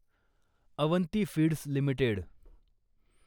Avanti feeds limited